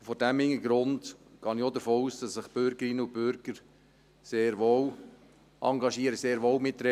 Vor diesem Hintergrund gehe ich auch davon aus, dass sich die Bürgerinnen und Bürger sehr wohl engagieren, sehr wohl mitreden.